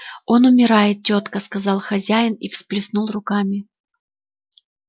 он умирает тётка сказал хозяин и всплеснул руками